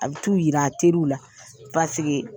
A bi t'u yira a teriw la